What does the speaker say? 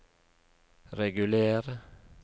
reguler